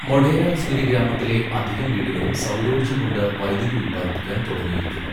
മൊഢേര സൂര്യഗ്രാമത്തിലെ അധികം വീടുകളും സൗരോർജ്ജം കൊണ്ട് വൈദ്യുതി ഉത്പാദിപ്പിക്കാൻ തുടങ്ങിയിരിക്കുന്നു.